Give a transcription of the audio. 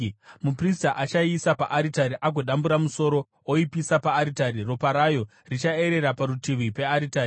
Muprista achaiisa paaritari agodambura musoro, oipisa paaritari; ropa rayo richaerera parutivi pearitari.